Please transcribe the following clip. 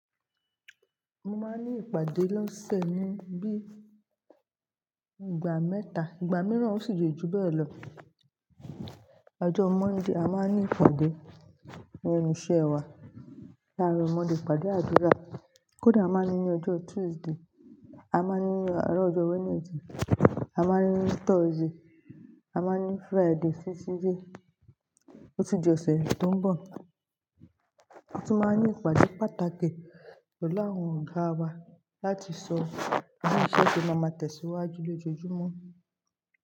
Mo máa ń ní ìpàdé lóẹù ẹnu bí i ìgbà mẹ́ta, ìgbà mìíràn ó sì jẹ́ ju bẹ́ẹ̀ lọ. Ọjọ́ Monday a máa ń ní ìpàdé irinṣẹ́ wa, láàárọ Mondé ipàdé àdúrà. Kódà a máa ń ní ọjọ́ Tuesday, a máa ń ní àárọ̀ ọjọ́ Wednesday, a máa ń ní Thursday, a máa ń ní Friday sí sílé, otujọ́ ọ̀sẹ̀ tó ń bọ̀. A tún máa ń ní ìpàdé pàtàkì pelu àwọn ògà wa láti sọ bi iṣẹ́ tí a máa tẹ̀síwájú lójoojúmọ́